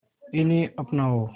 इन्हें अपनाओ